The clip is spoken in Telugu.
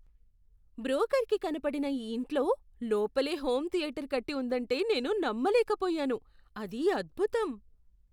బ్రోకర్కి కనపడిన ఈ ఇంట్లో లోపలే హోమ్ థియేటర్ కట్టి ఉందంటే నేను నమ్మలేకపోయాను. అది అద్భుతం!